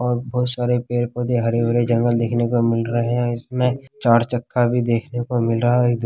और बहुत सारे पेड़-पौधे हरे भरे जंगल देखने को मिल रहे हैं इसमें चार चक्का भी देखने को मिल रहा है।